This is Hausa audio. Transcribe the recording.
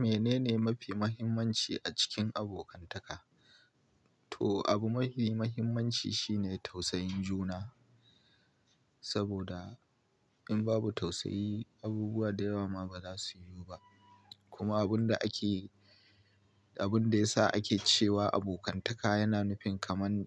Menene mafi muhimmanci a cikin abokantaka? To, abu mafi muhimmanci shine tausayin juna. Saboda in babu tausayi, abubuwa da yawa ma ba za su yiwu ba. Kuma abun da ake, abun da yasa ake cewa abokantaka yana nufin kamar